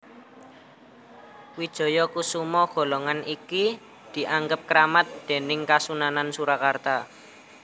Wijayakusuma golongan iki dianggep kramat déning Kasunanan Surakarta